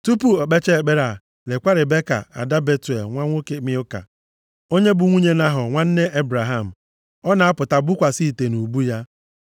Tupu o kpechaa ekpere a, lekwa Ribeka ada Betuel, nwa nwoke Milka, onye bụ nwunye Nahọ, nwanne Ebraham. Ọ na-apụta bukwasị ite nʼubu ya.